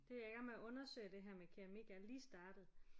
Det er jeg i gang med at undersøge det her med keramik jeg er lige startet